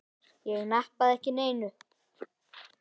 Ég nappaði ekki neinu.